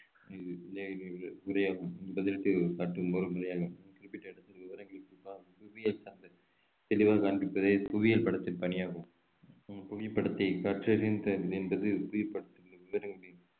முறையாகும் ஒரு குறிப்பிட்ட இடத்தின் விவரங்களை தெளிவா காண்பிப்பது புவியியல் படத்தில் பணியாகும் உம் புவிப்படத்தை கற்றறிதல் என்பது புவிப்படத்தில் உள்ள விவரங்களை